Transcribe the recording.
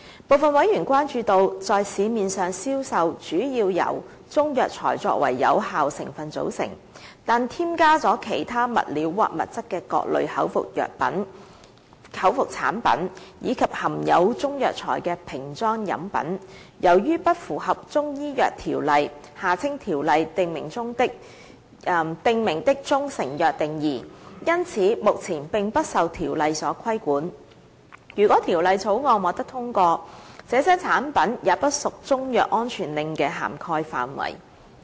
部分委員關注到，在市面上銷售，主要由中藥材作為有效成分組成，但添加了其他物料或物質的各類口服產品，以及含有中藥材的瓶裝飲品，由於不符合《中醫藥條例》訂明的中成藥定義，因此目前並不受《條例》所規管。如果《條例草案》獲得通過，這些產品也不屬中藥安全令的涵蓋範圍。